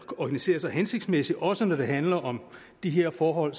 organisere sig hensigtsmæssigt også når det handler om de her forhold